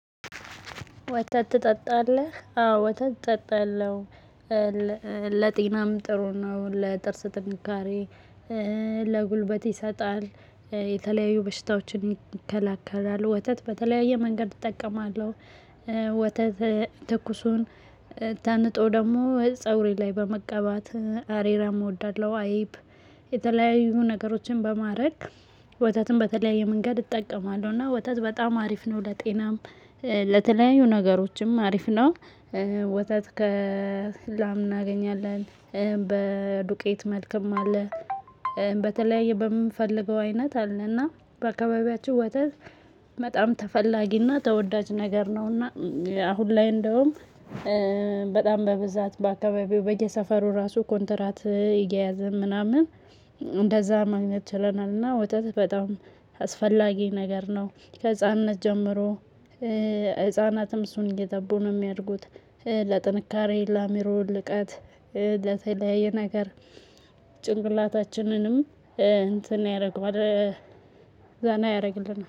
ወተትትጠጣለህ? አዎ ወተትትጠጣለህ? ለጤናም ጥሩ ነው ለጥርስ ጥንካሬ። ለጉልበት ይሰጣል የተለያዩ በሽታዎችን ይከላከላል። ወተት በተለያየ መንገድ እጠቀማለሁ። ወተት ትኩሱን ተንጦ ደግሞ ፀጉሬ ላይ በመቀባት አሬራ እወዳለሁ። አይብ የተለያዩ ነገሮችን በማድረግ ወተትን በተለያየ መንገድ እጠቀማለሁ። እና ወተት በጣም አሪፍ ነው። ለጤናም ለተለያዩ ነገሮችም አሪፍ ነው። ወተት ከላም እናገኛለን። በዱቄት መልኩም አለ። በተለያየ በምፈልገው አይነት አለና በአካባቢያችሁ ወተት በጣም ተፈላጊና ተወዳጅ ነገር ነውና። አሁን ላይ እንደውም በጣም በብዛት በአካባቢው በየሰፈሩ ራሱ ኮንትራት እየያዝን ምናምን እንደዛ ማግኘት ችለናልና። እና ወተት በጣም አስፈላጊ ነገር ነው። ከህፃንነት ጀምሮ ህፃናትም እሱን እየጠቡ ነው ሚያድጉት። ለጥንካሬ ለአሚሮ ልቀት። ለተለያየ ነገር ጭንቅላታችንንም እንትን ያረገዋል። ዘና ያረግልናል